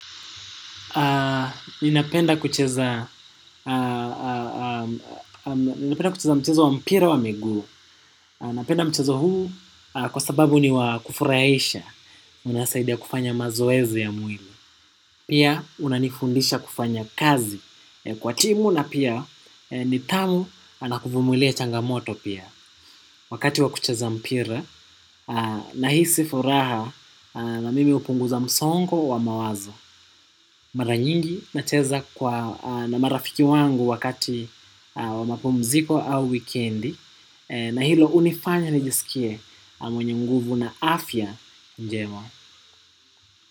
Ninapenda kucheza mchezo wa mpira wa miguu. Napenda mchezo huu kwa sababu ni wakufurahisha inasaidia kufanya mazoezi ya mwili. Pia unanifundisha kufanya kazi kwa timu na pia nidhamu na kuvumulia changamoto pia. Wakati wakucheza mpira nahisi furaha na mimi hupunguza msongo wa mawazo. Mara nyingi nacheza kwa na marafiki wangu wakati wa mapumziko au wikendi. Na hilo hunifanya nijisikie mwenye mguvu na afya njema.